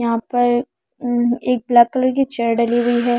यहां पर अह एक ब्लैक कलर की चेयर डली हुई है।